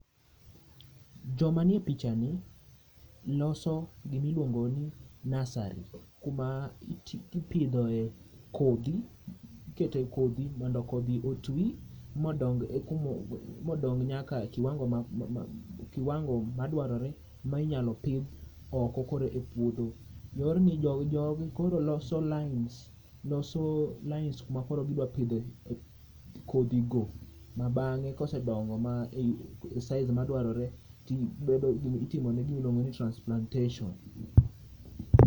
joma nie pichani loso gimi iluong'o ni nursery kuma ipidhoe kodhi, ikete kodhi mondo kodhi otwi modong' nyaka kiwango madwarore ma inyalo pith oko e puodho jogi koro loso lines ma koro gidwaro pidhe kodhi go ma bange kose donge size madwarore titimone gima iluong'o ni transplantation